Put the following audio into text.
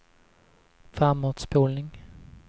framåtspolning